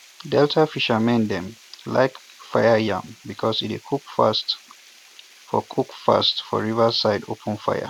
delta fishernan dem like fire yam because e dey cook fast for cook fast for river side open fire